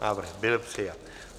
Návrh byl přijat.